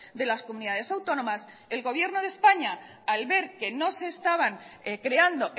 de las comunidades autónomas el gobierno de españa al ver que no se estaban creando